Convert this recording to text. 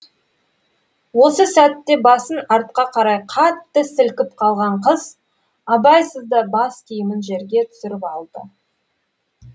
осы сәтте басын артқа қарай қатты сілкіп қалған қыз абайсызда бас киімін жерге түсіріп алды